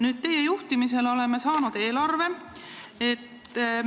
Nüüd, teie juhtimisel oleme saanud uue eelarve.